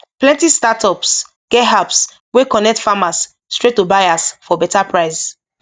plenty startups get apps wey connect farmers straight to buyers for better price